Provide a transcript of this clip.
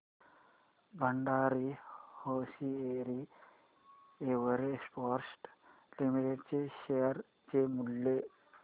Bhandari hosiery exports limited च्या share चे मूल्य